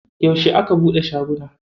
Yauce aka buɗe shagunan?